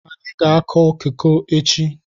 Ị ga-akụ koko echi?